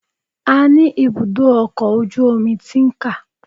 A ní ibùdó ọkọ̀ ojú omi Tin-Can